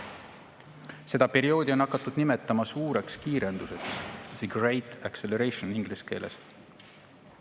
Seda perioodi on hakatud nimetama suureks kiirenduseks, the Great Acceleration inglise keeles.